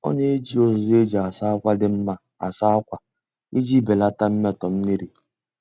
Ọ na-eji uzuzu e ji asa akwa dị mma asa akwa iji belata mmetọ mmiri.